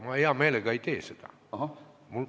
Ma hea meelega ei tee seda.